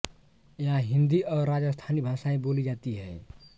यहाँ हिन्दी और राजस्थानी भाषाएँ बोली जाती हैं